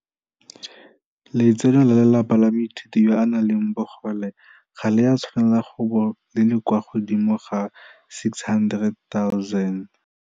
Letseno la lelapa la moithuti yo a nang le bogole ga le a tshwanela go bo le le kwa godimo ga R600 000.